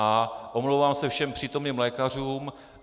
A omlouvám se všem přítomným lékařům.